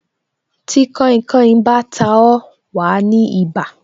Tí kainkain bá ta ó, wa ní ibà